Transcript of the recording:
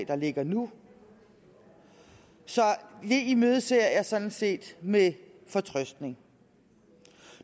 der ligger nu så det imødeser jeg sådan set med fortrøstning